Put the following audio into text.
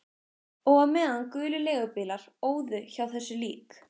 Og á meðan gulir leigubílar óðu hjá þessu lík